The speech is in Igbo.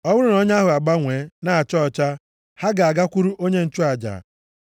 Ọ bụrụ nʼọnya ahụ agbanwe na-acha ọcha, ha ga-agakwuru onye nchụaja.